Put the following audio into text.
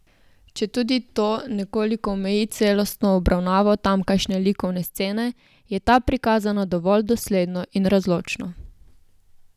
Četudi to nekoliko omeji celostno obravnavo tamkajšnje likovne scene, je ta prikazana dovolj dosledno in razločno.